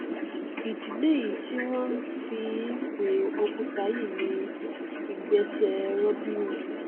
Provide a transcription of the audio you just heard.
ìdí lèyí tí wọn fi n pe òkúta yìí ní ìgbésẹ robin hood